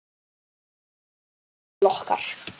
Fólk kemst ekki til okkar.